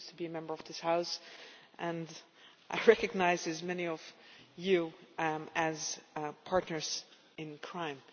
I used to be a Member of this House and I recognise many of you as partners in crime'.